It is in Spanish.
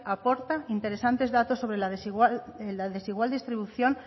aporta interesantes datos sobre la desigual distribución